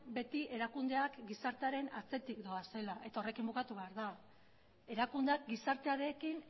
beti erakundeak gizartearen atzetik doazela eta horrekin bukatu behar da erakundeak gizartearekin